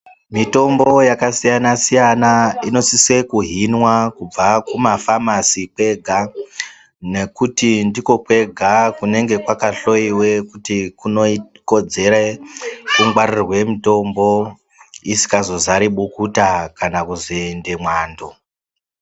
Mitombo yakasiyana-siyana inosise kuhinwa kubva kumafamasi kwega. Nekuti ndikokwega kunenge kwakahloiwe kuti kunokodzere kungwaririrwe mutombo isikazozari bukuta kana kuzoende mwando.